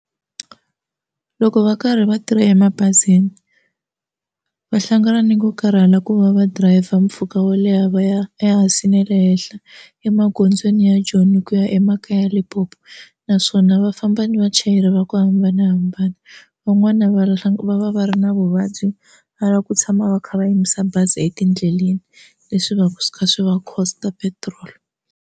Loko va karhi va tirha emabazini va hlangana ni ku karhala ku va va dirayivha mpfhuka wo leha va ya ya hansi ne le henhla emagondzweni ya Joni ku ya emakaya Limpopo naswona va famba ni vachayeri va ku hambanahambana van'wani va va va va ri na vuvabyi va lava ku tshama va kha va yimisa bazi etindleleni leswi va swi kha swi va cost petrol.